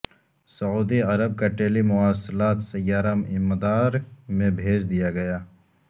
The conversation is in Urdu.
سعودی عرب کا ٹیلی مواصلاتی سیارہ مدار میں بھیج دیا گیا